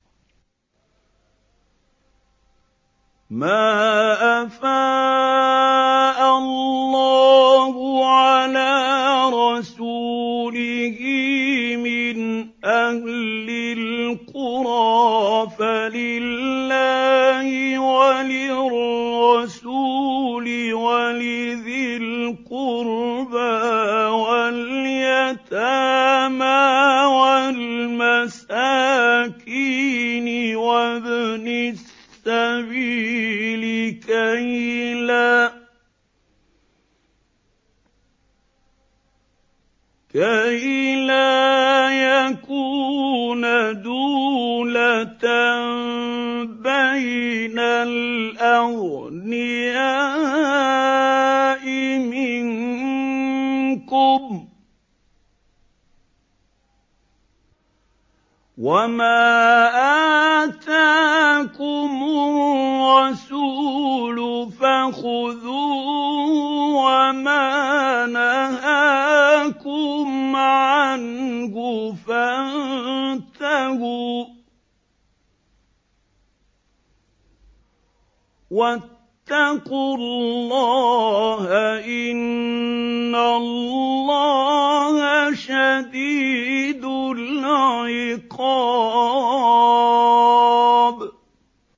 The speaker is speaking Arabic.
مَّا أَفَاءَ اللَّهُ عَلَىٰ رَسُولِهِ مِنْ أَهْلِ الْقُرَىٰ فَلِلَّهِ وَلِلرَّسُولِ وَلِذِي الْقُرْبَىٰ وَالْيَتَامَىٰ وَالْمَسَاكِينِ وَابْنِ السَّبِيلِ كَيْ لَا يَكُونَ دُولَةً بَيْنَ الْأَغْنِيَاءِ مِنكُمْ ۚ وَمَا آتَاكُمُ الرَّسُولُ فَخُذُوهُ وَمَا نَهَاكُمْ عَنْهُ فَانتَهُوا ۚ وَاتَّقُوا اللَّهَ ۖ إِنَّ اللَّهَ شَدِيدُ الْعِقَابِ